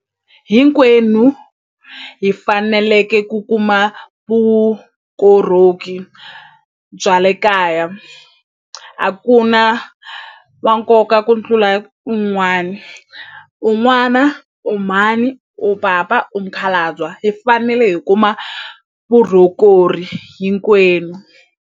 Hinkwenu hi faneleke ku kuma vukorhoki bya le kaya a ku na va nkoka ku tlula un'wani u n'wana u mhani u papa u mukhalabya hi fanele hi kuma hinkwenu.